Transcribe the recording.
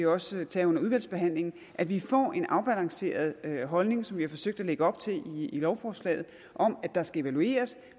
også tage under udvalgsbehandlingen at vi får en afbalanceret holdning som vi har forsøgt at lægge op til i lovforslaget om at der skal evalueres